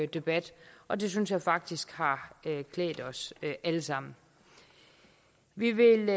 debat og det synes jeg faktisk har klædt os alle sammen vi vil